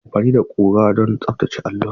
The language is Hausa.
Ana amfani da ƙura don tsaftace allon.